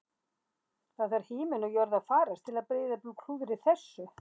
Það þarf himinn og jörð að farast til að Breiðablik klúðri þessu